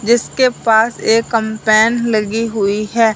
जिसके पास एक कैंपेन लगी हुई है।